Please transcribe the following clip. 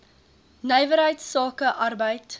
nywerheids sake arbeids